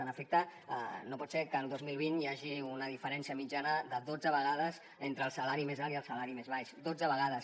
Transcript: en efecte no pot ser que el dos mil vint hi hagi una diferència mitjana de dotze vegades entre el salari més alt i el salari més baix dotze vegades